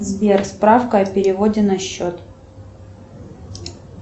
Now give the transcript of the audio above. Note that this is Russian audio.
сбер справка о переводе на счет